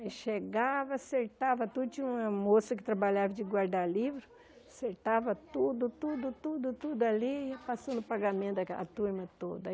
Aí chegava, acertava tudo, tinha uma moça que trabalhava de guardar livro, acertava tudo, tudo, tudo, tudo ali e passando o pagamento daquela turma toda.